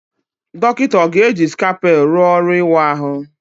Dọkịta ọ ga-eji scalpel rụọ ọrụ ịwa ahụ?